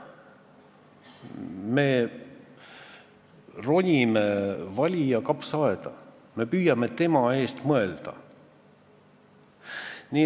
Me ronime valija kapsaaeda, me püüame tema eest mõelda.